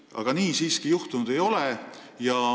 Nii ei ole siiski läinud.